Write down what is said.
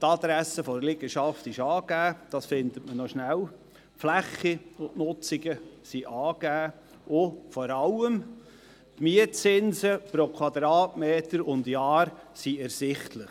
Die Adresse der Liegenschaft ist angegeben, man findet sie rasch, die Fläche und die Nutzungen ebenfalls, und vor allem sind die Mietzinse pro Quadratmeter und Jahr ersichtlich.